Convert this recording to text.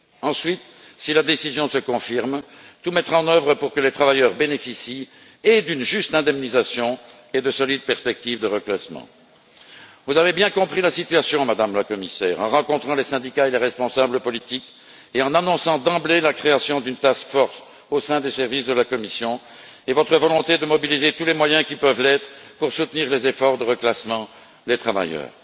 Ensuite, si la décision se confirme, tout mettre en œuvre pour que les travailleurs bénéficient d'une juste indemnisation et de solides perspectives de reclassement. Vous avez bien compris la situation, Madame la Commissaire, en rencontrant les syndicats et les responsables politiques et en annonçant d'emblée la création d'une task force au sein des services de la Commission et votre volonté de mobiliser tous les moyens qui peuvent l'être pour soutenir les efforts de reclassement des travailleurs.